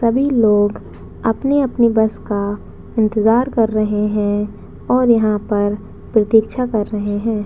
सभी लोग अपने-अपने अपने बस का इंतजार कर रहे है और यहाँ पर प्रतीक्षा कर रहे हैं।